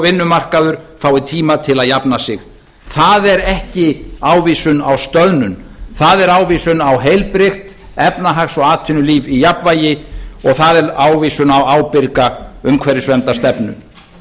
vinnumarkaður fái tíma til að jafna sig það er ekki ávísun á stöðnun það er ávísun á heilbrigt efnahags og atvinnulíf í jafnvægi og það er ávísun á ábyrga umhverfisverndarstefnu